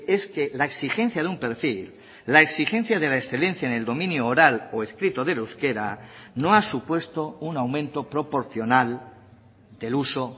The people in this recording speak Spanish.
es que la exigencia de un perfil la exigencia de la excelencia en el dominio oral o escrito del euskera no ha supuesto un aumento proporcional del uso